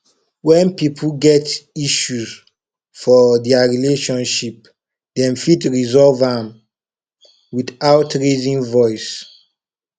when pipo get issue for their relationship dem fit resolve am without raising voice